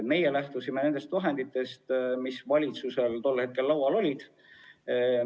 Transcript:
Meie lähtusime nendest vahenditest, mis valitsusel tol hetkel laual olid.